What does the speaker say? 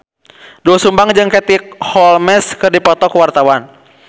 Doel Sumbang jeung Katie Holmes keur dipoto ku wartawan